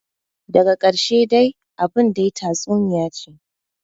Daga karshe dai abin dai tatsuniyace ce,